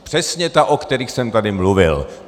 Přesně ta, o kterých jsem tady mluvil.